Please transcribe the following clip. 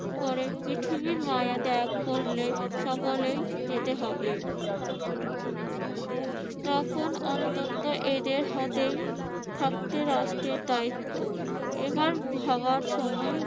পরে পৃথিবীর মায়া ত্যাগ করলে সকলেই যেতে হবে। তখন অন্তত এদের হাতেই থাকবে রাষ্ট্রের দ্বায়িত্ব এবার ভাবার সময়